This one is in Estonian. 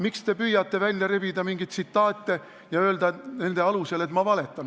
Miks te püüate välja rebida mingeid tsitaate ja öelda nende alusel, et ma valetan?